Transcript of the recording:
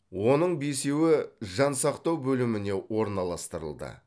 оның бесеуі жансақтау бөліміне орналастырылды